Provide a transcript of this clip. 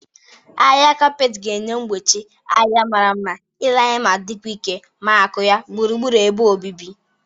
Ahịha kaapet ga-enye mgbochi ahịha mara mma ile anya ma dịkwa ike ma akụ ya gburugburu ebe obibi